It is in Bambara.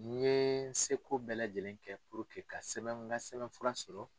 N ye seko bɛɛ lajɛlen kɛ ka sɛbɛn n ka sɛbɛn furan sɔrɔ.